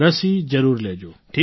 રસી જરૂર લેજો